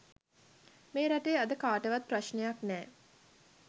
මේ රටේ අද කාටවත් ප්‍රශ්නයක් නෑ.